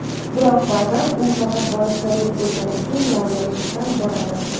Biroq ba’zan u faqat borish zarur bo‘lgani uchun noilojlikdan boradi.